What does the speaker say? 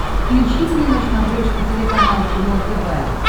включи мне на смотрешке телеканал кино тв